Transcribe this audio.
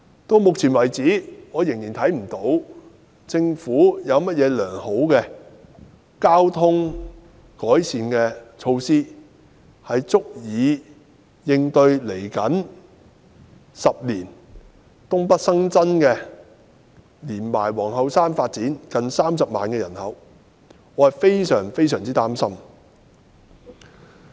至目前為止，我仍未能看到政府有甚麼好的改善交通措施，足以應對未來10年東北發展及皇后山發展所新增約30萬的人口。